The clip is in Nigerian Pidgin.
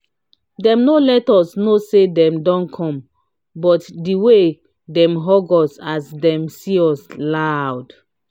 dem no let us knw say dem don come but de wey dem hug us as dem see us loud.